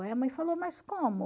Aí a mãe falou, mas como?